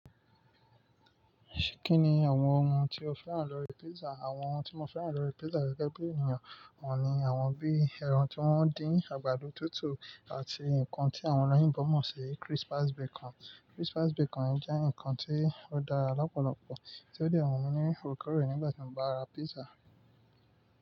Kí ni àwọn ohun tí o fẹ́ràn lórí pizza? Àwọn ohun tí mo fẹ́ràn lórí pizza gẹ́gẹ́ bí ènìyàn, wọ́n ni àwọn bíi ẹran tí wọ́n dín, àgbàdo tútù àti nǹkan tí àwọn oloyinbo mọ̀ sí crispy bacon. Crispy bacon jẹ́ nǹkan tí ó dára lọ́pọ̀lọpọ̀ tí ó dè n wu mi ní oorekoòrè nígbà tí mo bá ra pizza.